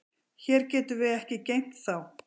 Hér getum við ekki geymt þá.